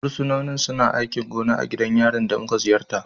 Fursunonin suna aikin gona a gidan yarin da muka ziyarta.